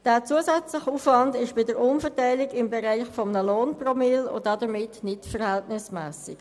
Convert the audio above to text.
Dieser zusätzliche Aufwand liegt bei der Umverteilung im Bereich eines Lohnpromilles und ist damit nicht verhältnismässig.